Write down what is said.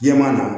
Jɛman na